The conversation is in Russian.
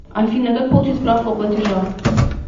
афина как получить справку о платежах